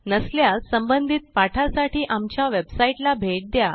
नसल्यास संबंधित पाठासाठी आमच्या वेबसाईटला भेट द्या